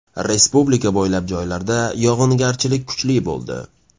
Respublika bo‘ylab joylarda yog‘ingarchilik kuchli bo‘ldi.